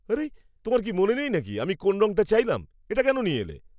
আরে, তোমার কি মনে নেই নাকি আমি কোন রংটা চাইলাম? এটা কেন নিয়ে এলে?